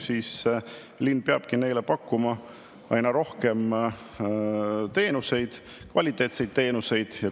Linn peabki inimestele pakkuma aina rohkem teenuseid, kvaliteetseid teenuseid.